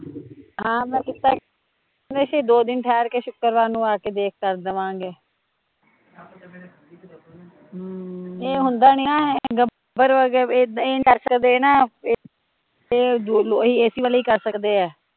ਹਾਂ ਮੈਂ ਕੀਤਾ ਸੀ ਕਹਿਦੇ ਸੀ ਦੋ ਦਿਨ ਠਹਿਰ ਕੇ ਸੁੱਕਰਵਾਰ ਨੂ ਆ ਕੇ ਦੇਖ ਕਰ ਦੇਵਾਂਗੇ ਹਮ ਏਹ ਹੁੰਦਾ ਨੀ ਨਾ ਵਾਲੇ ਹੀਂ ਕਰ ਸਕਦੇ ਐ